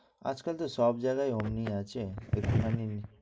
আজ কাল তো সব জায়গায় আমিই আছি, এখানেই